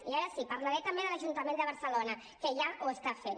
i ara sí parlaré també de l’ajuntament de barcelona que ja ho està fent